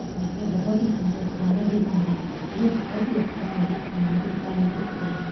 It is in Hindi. साथ मे ये बहुत ही सुन्दर गाना भी गा रहे हैं। ये बहोत ही अच्छा संगीत समारोह आयोजित किया गया --